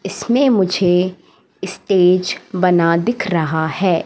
इसमें मुझे इस्टेज बना दिख रहा है।